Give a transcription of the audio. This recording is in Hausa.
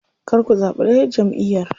Kar ku zaɓi ɗayar jamʼiyar.